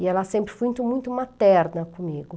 E ela sempre foi muito materna comigo.